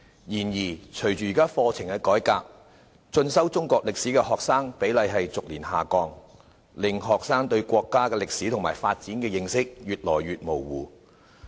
然而隨着課程改革，進修中國歷史科的學生比例逐年下降，令學生對國家歷史及發展的認識越來越模糊。